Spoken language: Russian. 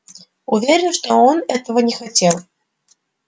уверен что он этого не хотел